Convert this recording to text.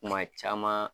Kuma caman